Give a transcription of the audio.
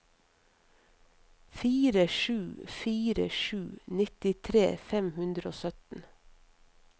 fire sju fire sju nittitre fem hundre og sytten